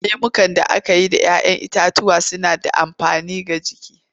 Lemukan da aka yi da 'ya 'yan itatuwa suna da amfani ga jiki.